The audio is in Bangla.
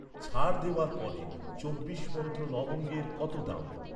ছাড় দেওয়ার পরে চব্বিশ মন্ত্র লবঙ্গের কত দাম?